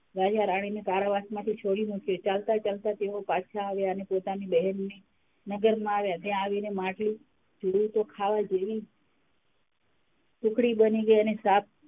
રાજા -રાણી કારાવાસમાંથી છોડી મૂક્યાં અને ચાલતાં -ચાલતાં તેઓ પાછાં આવ્યાં અને પોતાની બહેનનાં નગરમાં આવ્યાં ત્યાં આવીને માટલું જોયું તો ખાવા જેવી સુખડી બની ગઈ અને સાપ,